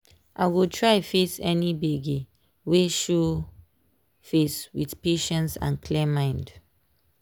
um i go pause small to um stretch body and um take care of my body well.